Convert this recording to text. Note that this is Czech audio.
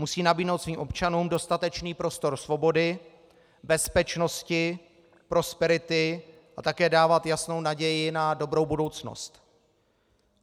Musí nabídnout svým občanům dostatečný prostor svobody, bezpečnosti, prosperity a také dávat jasnou naději na dobrou budoucnost.